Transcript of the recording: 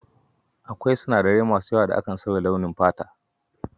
Akwai sinadarai masu yawa da kan sauya launin fata.